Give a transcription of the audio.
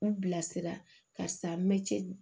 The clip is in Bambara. N bilasira karisa n bɛ cɛ